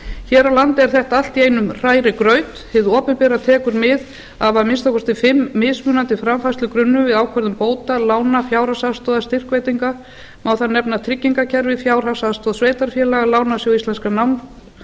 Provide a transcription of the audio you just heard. hér á landi er þetta allt í einum hrærigraut hið opinbera tekur mið af að minnsta kosti fimm mismunandi framfærslugrunnum við ákvörðun bóta lána fjárhagsaðstoðar styrkveitinga má þar nefna tryggingakerfi fjárhagsaðstoð sveitarfélaga lánasjóð íslenskum